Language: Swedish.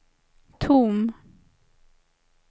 tom